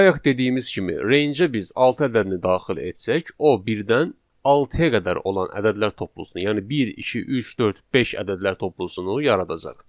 Bayaq dediyimiz kimi rangeə biz altı ədədini daxil etsək, o birdən altıya qədər olan ədədlər toplusunu, yəni bir, iki, üç, dörd, beş ədədlər toplusunu yaradacaq.